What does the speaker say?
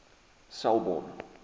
selborne